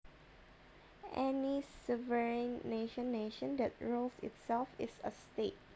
Any sovereign nation nation that rules itself is a state